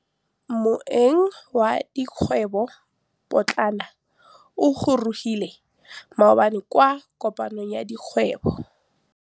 Moêng wa dikgwêbô pôtlana o gorogile maabane kwa kopanong ya dikgwêbô.